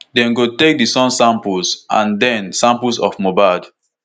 dem go take di son samples and den take samples of mohbad.